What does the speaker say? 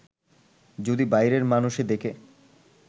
যদি বাইরের মানষে দেখে